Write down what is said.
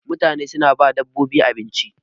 mutane suna ba dabbobin abinci